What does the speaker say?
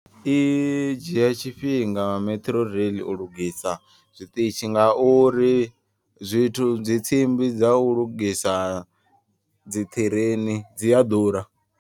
I dzhia tshifhinga metro rail u lugisa zwiṱitshi. Nga uri zwithu dzi tsimbi dza u lugisa dzi ṱhireini dzi a ḓura.